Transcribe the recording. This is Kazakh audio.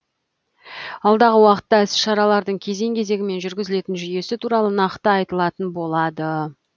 алдағы уақытта іс шаралардың кезең кезеңімен жүргізілетін жүйесі туралы нақты айтылатын болады